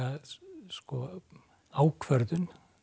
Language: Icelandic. sko ákvörðun